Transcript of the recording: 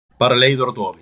Bara leiður og dofinn.